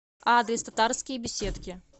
адрес татарские беседки